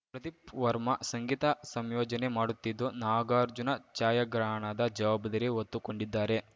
ಪ್ರದೀಪ್‌ ವರ್ಮ ಸಂಗೀತ ಸಂಯೋಜನೆ ಮಾಡುತ್ತಿದ್ದು ನಾಗಾರ್ಜುನ ಛಾಯಾಗ್ರಹಣದ ಜವಾಬ್ದಾರಿ ಹೊತ್ತುಕೊಂಡಿದ್ದಾರೆ